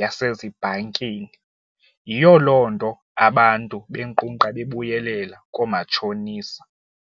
yasezibhankini. Yiyo loo nto abantu benkqunkqa bebuyelela koomatshonisa.